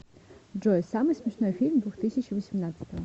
джой самый смешной фильм двухтысячи восемнадцатого